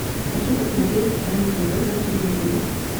хочу посмотреть рен тв на телевизоре